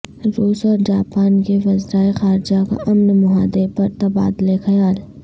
روس اورجاپان کے وزرائے خارجہ کا امن معاہدے پر تبادلہ خیال